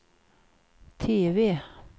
TV